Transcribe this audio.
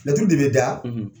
Laturu de bɛ da